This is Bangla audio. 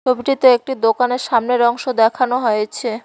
ছবিটিতে একটি দোকানের সামনের অংশ দেখানো হয়েছে।